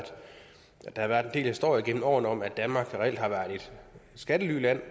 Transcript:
der har været en del historier gennem årene om at danmark reelt har været et skattelyland